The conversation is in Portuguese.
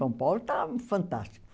São Paulo está fantástico.